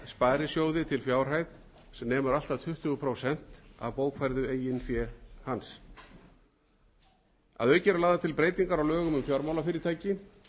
sparisjóði til fjárhæð sem nemur allt að tuttugu prósent af bókfærðu eigin fé að auki eru lagðar til breytingar á lögum um fjármálafyrirtæki